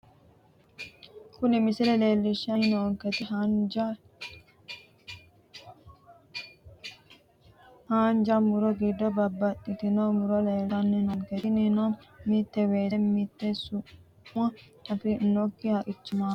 Kuni misile leelishani noonketi haanja muro giddo babaxitinoti muro leeltani noonke tininino mite weese mite su`ma afoomoki haqicho no yaate.